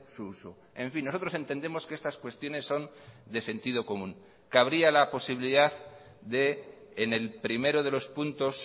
su uso en fin nosotros entendemos que estas cuestiones son de sentido común cabría la posibilidad de en el primero de los puntos